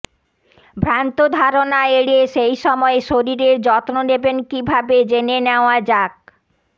ভ্রান্ত ধারণা এড়িয়ে সেই সময়ে শরীরের যত্ন নেবেন কী ভাবে জেনে নেওয়া যাক